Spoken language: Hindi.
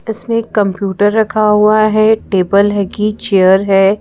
इसमें एक कंप्यूटर रखा हुआ है टेबल है कि चेयर है।